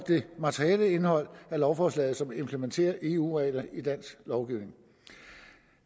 det materielle indhold af lovforslag som implementerer eu regler i dansk lovgivning